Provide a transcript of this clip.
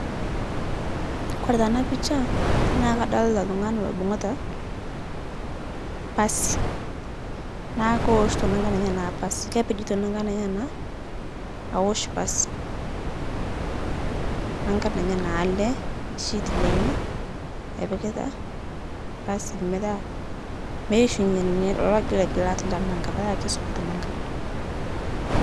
Kore taa ana picha naa kadolita ltung'ani loibung'ita pasii naaku kooshito nankan enyana pasii kepejito nankan enyana awosh pasii nankan enyanaa alee shit lenye epikitaa pasii petaa meishunye leloo gilgilat lenanka petaa keisupat nanka.